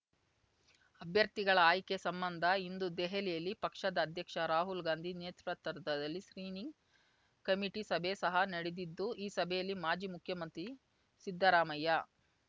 ಅಭ್ಯರ್ಥಿಗಳ ಆಯ್ಕೆ ಸಂಬಂಧ ಇಂದು ದೆಹಲಿಯಲ್ಲಿ ಪಕ್ಷದ ಅಧ್ಯಕ್ಷ ರಾಹುಲ್‌ಗಾಂಧಿ ನೇತೃತ್ವದಲ್ಲಿ ಸ್ಕ್ರೀನಿಂಗ್ ಕಮಿಟಿ ಸಭೆ ಸಹ ನಡೆದಿದ್ದು ಈ ಸಭೆಯಲ್ಲಿ ಮಾಜಿ ಮುಖ್ಯಮಂತ್ರಿ ಸಿದ್ಧರಾಮಯ್ಯ